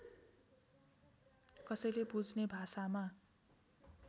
कसैले बुझ्ने भाषामा